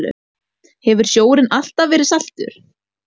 Hefur sjórinn alltaf verið saltur?